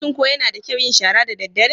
Shin ko yana da kyau yin shara daddare?